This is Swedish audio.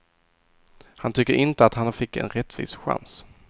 Han tycker inte att han fick en rättvis chans.